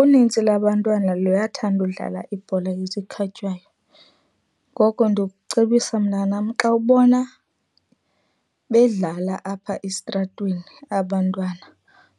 Unintsi labantwana liyathanda udlala ibhola yezikhatywayo. Ngoko ndikucebisa mntanam xa ubona bedlala apha esitratweni abantwana,